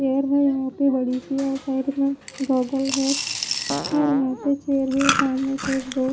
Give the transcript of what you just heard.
यहां पे बड़ी सी और साइड में है और यहां पे शेर भी सामने सेट दो--